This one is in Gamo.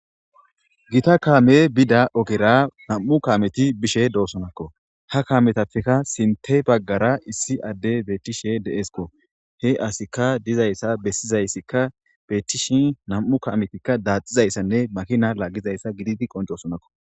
gita kaame bida ogera nam7u kameti bishe doosonakko ha kametappeka sinte baggara issi adde beettishe deeesko he asika dizayssa bessizayssikka beettishi nam7u kametikka daaxizayssanne makina laggizayssa giditi qoncoosonakko